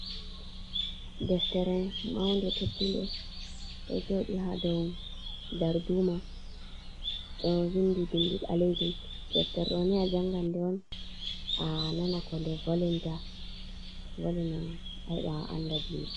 Deftere maunde teddunde ɗo joɗi ha dow darduma ɗo vindi bindi ɓalejum, deftere ɗoni janga de on a nana ko nde volinta valina a heɓa a anda diina.